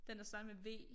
Den der starter med V